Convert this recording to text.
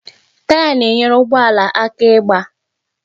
Taya na-enyere ụgbọ ala aka ịgbaa